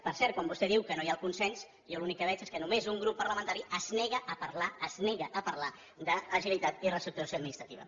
per cert quan vostè diu que no hi ha consens jo l’únic que veig és que només un grup parlamentari es nega a parlar d’agilitat i reestructuració administrativa